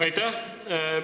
Aitäh!